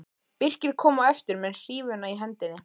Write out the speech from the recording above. Birkir kom á eftir með hrífuna í hendinni.